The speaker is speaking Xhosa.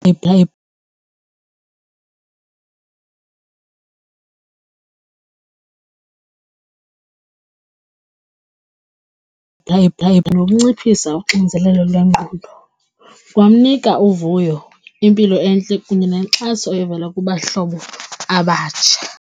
nokunciphisa uxinzelelo lwengqondo kwamnika uvuyo, impilo entle kunye nenkxaso evela kubahlobo abatsha.